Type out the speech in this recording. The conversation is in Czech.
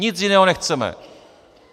Nic jiného nechceme.